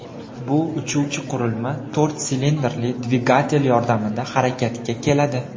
Bu uchuvchi qurilma to‘rt silindrli dvigatel yordamida harakatga keladi.